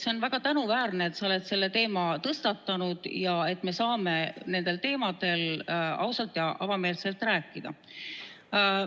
See on väga tänuväärne, et sa oled selle teema tõstatanud ja et me saame nendel teemadel ausalt ja avameelselt rääkida.